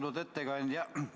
Austatud ettekandja!